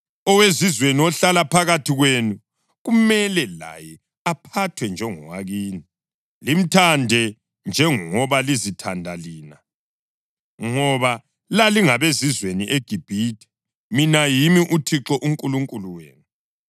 Owezizweni ohlala phakathi kwenu kumele laye aphathwe njengowakini. Limthande njengoba lizithanda lina, ngoba lalingabezizweni eGibhithe. Mina yimi uThixo uNkulunkulu wenu.